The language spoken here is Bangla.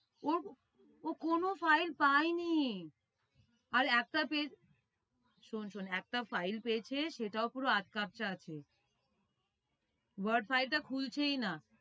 ও ও কোনো file পায়নি। আর একটা শোন শোন একটা file পেয়েছে সেটাও পুরো আধ ক্যাপচা আছে boat file টা খুলছেই না।